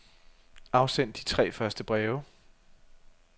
Afsend de tre første breve.